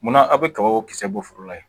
Munna aw bɛ kabako kisɛ bɔ foro la yen